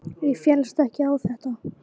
Ég féllst ekki á þetta.